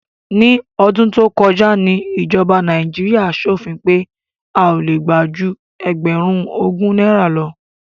Ní ọdún tó kọjá ni ìjọba Nàíjíríà ṣòfin pé a ò le gbà ju ẹgbẹ̀rún ogún náírà lọ.